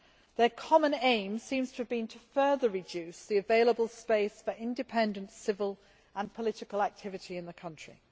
Their common aim seems to have been to further reduce the available space for independent civil and political activity in the country.